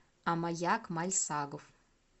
амаяк мальсагов